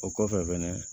O kɔfɛ fɛnɛ